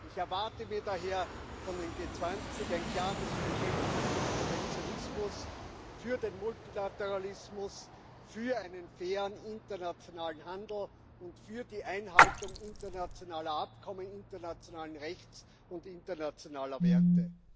Ich erwarte mir daher von den G20 ein klares Bekenntnis gegen Protektionismus, für den Multilateralismus, für einen fairen internationalen Handel und für die Einhaltung internationaler Abkommen, internationalen Rechts und internationaler Werte.